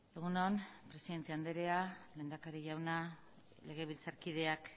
egun on presidente anderea lehendakari jauna legebiltzarkideak